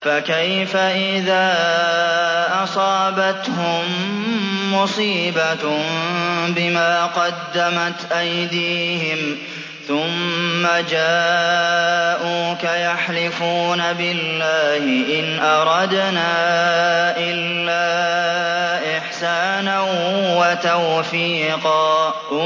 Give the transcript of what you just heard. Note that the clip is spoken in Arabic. فَكَيْفَ إِذَا أَصَابَتْهُم مُّصِيبَةٌ بِمَا قَدَّمَتْ أَيْدِيهِمْ ثُمَّ جَاءُوكَ يَحْلِفُونَ بِاللَّهِ إِنْ أَرَدْنَا إِلَّا إِحْسَانًا وَتَوْفِيقًا